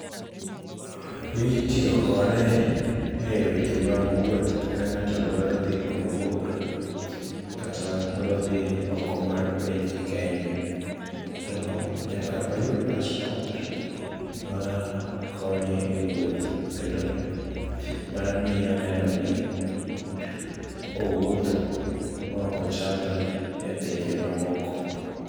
Itiyo kode e weche mag wuoth ka ng'ato dwaro dhi kumabor, kata odwa dhi oko mar piny Kenya, to nyaka oyud passport makonye e wuoth, kendo mamiyo nenoni owuotho maoko chadre e pinje mamoko.